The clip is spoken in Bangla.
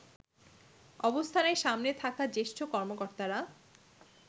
অবস্থানের সামনে থাকা জ্যেষ্ঠ কর্মকর্তারা